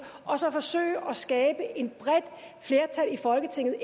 og så forsøge at skabe et bredt flertal i folketinget